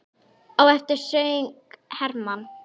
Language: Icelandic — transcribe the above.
Á eftir söng Hermann